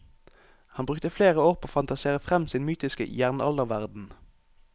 Han brukte flere år på å fantasere frem sin mytiske jernalderverden.